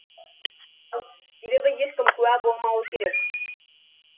себебі ешкім куә болмауы керек